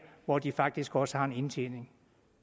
hvor de faktisk også har en indtjening